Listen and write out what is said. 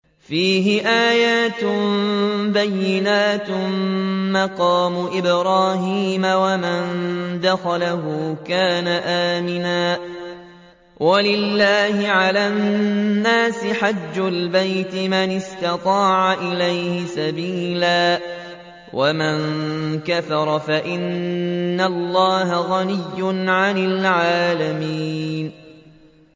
فِيهِ آيَاتٌ بَيِّنَاتٌ مَّقَامُ إِبْرَاهِيمَ ۖ وَمَن دَخَلَهُ كَانَ آمِنًا ۗ وَلِلَّهِ عَلَى النَّاسِ حِجُّ الْبَيْتِ مَنِ اسْتَطَاعَ إِلَيْهِ سَبِيلًا ۚ وَمَن كَفَرَ فَإِنَّ اللَّهَ غَنِيٌّ عَنِ الْعَالَمِينَ